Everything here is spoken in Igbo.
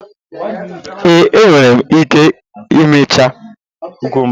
Ee, enwere m ike imecha kukumba.